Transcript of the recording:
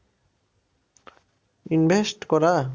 Invest করা?